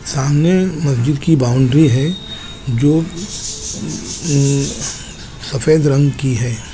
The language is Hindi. सामने मंजू की बॉउंड्री है जो सफ़ेद रंग की है।